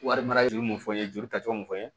Wari mara juru mun fɔ n ye joli ta cogo mun fɔ n ye